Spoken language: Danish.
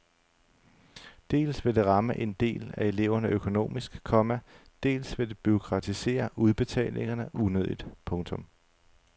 Dels vil det ramme en del af eleverne økonomisk, komma dels vil det bureaukratisere udbetalingerne unødigt. punktum